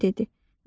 Cırtdan dedi: